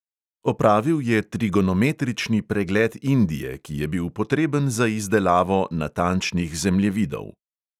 Opravil je trigonometrični pregled indije, ki je bil potreben za izdelavo natančnih zemljevidov.